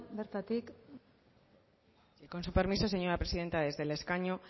bertatik con su permiso señora presidenta desde el escaño